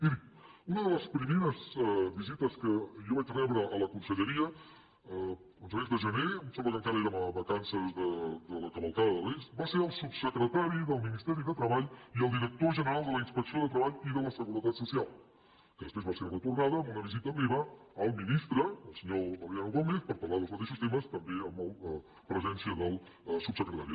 miri una de les primeres visites que jo vaig rebre a la conselleria a començaments de gener em sembla que encara érem a vacances de la cavalcada de reis va ser el subsecretari del ministeri de treball i el director general de la inspecció de treball i de la seguretat social que després va ser retornada amb una visita meva al ministre el senyor valeriano gómez per parlar dels mateixos temes també amb presència del subsecretari